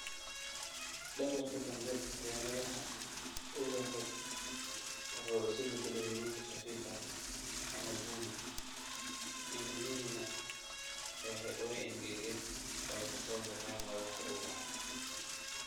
Dhabarka dambe ee madaxa ubaxu wuxuu isu beddelay huruud khafiif ah ama bunni, iniinihiina way engegeen oo ka soo baxeen madaxa ubaxa."